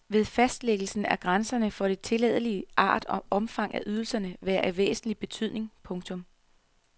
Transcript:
Ved fastlæggelsen af grænserne for det tilladelige vil art og omfang af ydelserne være af væsentlig betydning. punktum